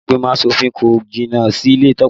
Ilé ìgbìmọ̀ asòfin kò jìnnà síle Tope